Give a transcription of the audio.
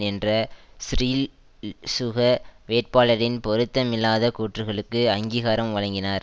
என்ற ஸ்ரீல்சுக வேட்பாளரின் பொருத்தமிலாத கூற்றுக்களுக்கு அங்கீகாரம் வழங்கினார்